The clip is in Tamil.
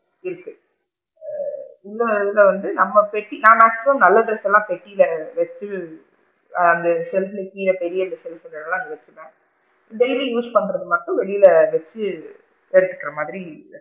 இருக்கு ஆ இன்னொருதுல வந்து நம்ம பெட்டி maximum நல்ல ட்ரெஸ் லா பெட்டில வச்சு ஆ அந்த shelf புக்கு கீழ பெரிய குடுத்து இருக்காங்கள அங்க வச்சுக்கலாம் daily use பண்றது மட்டும் வெளில வச்சு எடுக்குற மாதிரி,